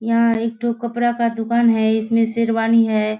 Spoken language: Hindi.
यहाँ एक ठो कपड़ा का दुकान है इसमें शेरवानी है।